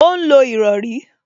Ó ń lo ìrọrí